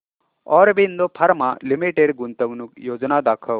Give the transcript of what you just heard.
Aurobindo pharma limited गुंतवणूक योजना दाखव